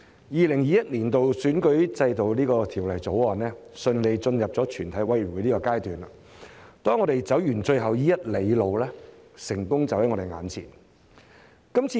《2021年完善選舉制度條例草案》順利進入全體委員會審議階段，當我們走完最後一里路，成功就在我們眼前。